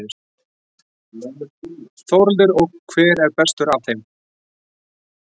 Þórhildur: Og hver er bestur af þeim?